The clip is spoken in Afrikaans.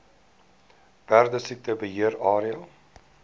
perdesiekte beheer area